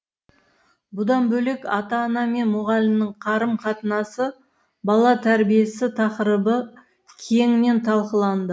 бұдан бөлек ата ана мен мұғалімнің қарым қатынасы бала тәрбиесі тақырыбы кеңінен талқыланды